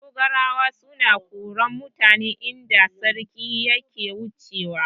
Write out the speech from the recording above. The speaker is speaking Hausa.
Dogarawa suna koran mutane idan sarki yana wucewa.